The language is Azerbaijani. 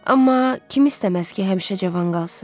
Amma kim istəməz ki, həmişə cavan qalsın?